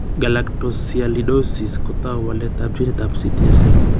Galactosialidosis ko tou waletab ginitab CTSA.